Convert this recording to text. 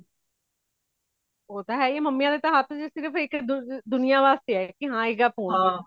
ਉਹ ਤਾ ਹਈ mummy ਦੇ ਹਾਥ ਚ ਸਿਰਫ ਦੁਨੀਯ ਵਾਸਤੇ ਹੇ ਕਿ ਹੇਗਾ phone